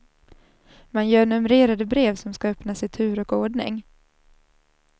Man gör numrerade brev, som ska öppnas i tur och ordning.